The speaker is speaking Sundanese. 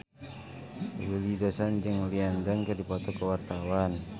Willy Dozan jeung Lin Dan keur dipoto ku wartawan